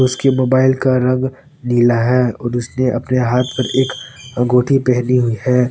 उसके मोबाइल का रंग नीला है और उसने अपने हाथ पर एक अंगूठी पहनी हुई है।